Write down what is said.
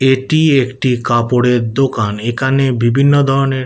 এটি একটি কাপড়ের দোকান এখানে বিভিন্ন ধরণের।